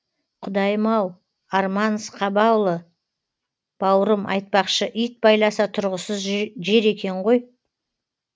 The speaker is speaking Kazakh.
құдайым ау арман сқабаұлы бауырым айтпақшы ит байласа тұрғысыз жер екен ғой